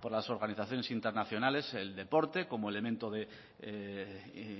por las organizaciones internacionales el deporte como elemento de